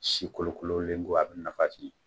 Si kolokololen ko a bɛ nafa jig.